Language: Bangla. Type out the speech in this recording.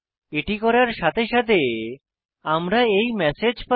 এটি করার সাথে সাথে আমরা এই ম্যাসেজ পাই